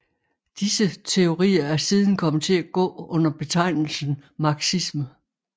Disse teorier er siden kommet til at gå under betegnelsen marxisme